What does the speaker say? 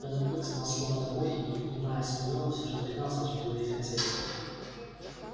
белый клык знал слово домой и не понимая остального все же догадался о чем говорит хозяин